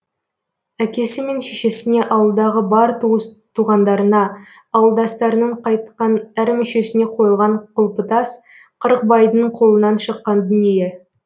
әкесі мен шешесіне ауылдағы бар туыс туғандарына ауылдастарының қайтқан әр мүшесіне қойылған құлпытас қырықбайдың қолынан шыққан дүние